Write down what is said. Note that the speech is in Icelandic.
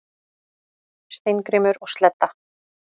Steingrímur og Sledda,